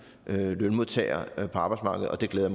lønmodtagere på arbejdsmarkedet og det glæder